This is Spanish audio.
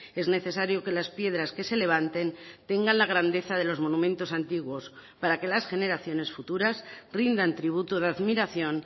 es necesario que las piedras que se levanten tengan la grandeza de los monumentos antiguos para que las generaciones futuras rindan tributo de admiración